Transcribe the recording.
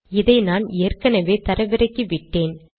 இதை நான் ஏற்கெனெவே தரவிறக்கிவிட்டேன்